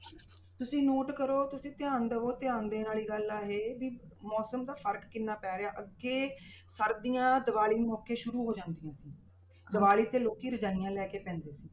ਤੁਸੀਂ note ਕਰੋ ਤੁਸੀਂ ਧਿਆਨ ਦੇਵੋ ਧਿਆਨ ਦੇਣ ਵਾਲੀ ਗੱਲ ਆ ਇਹ ਵੀ ਮੌਸਮ ਦਾ ਫ਼ਰਕ ਕਿੰਨਾ ਪੈ ਰਿਹਾ ਅੱਗੇ ਸਰਦੀਆਂ ਦੀਵਾਲੀ ਮੌਕੇ ਸ਼ੁਰੂ ਹੋ ਜਾਂਦੀਆਂ ਸੀ ਦੀਵਾਲੀ ਤੇ ਲੋਕੀ ਰਜ਼ਾਈਆਂ ਲੈ ਕੇ ਪੈਂਦੇ ਸੀ।